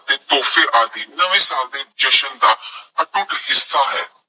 ਅਤੇ ਤੋਹਫੇ ਆਦਿ ਨਵੇਂ ਸਾਲ ਦੇ ਜਸ਼ਨ ਦਾ ਅਟੁੱਟ ਹਿੱਸਾ ਹੈ।